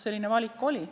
Selline valik oli.